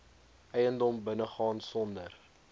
eiendom binnegaan sonder